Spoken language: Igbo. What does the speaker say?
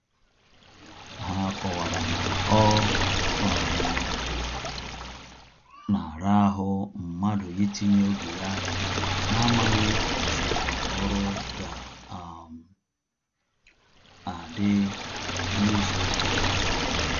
Ha kọwara na ọ um na ara ahụ mmadụ itinye oge ya na-amaghị otú ọrụ ga um adị na-ịzụ ụka ọzọ